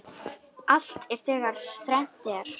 Allt er þegar þrennt er.